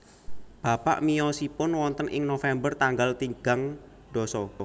Bapak miyosipun wonten ing November tanggal tinggang ndasa